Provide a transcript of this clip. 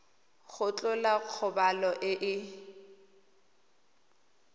go tlhola kgobalo e e